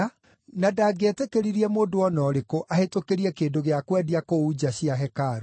na ndangĩetĩkĩririe mũndũ o na ũrĩkũ ahĩtũkĩrie kĩndũ gĩa kwendia kũu nja cia hekarũ.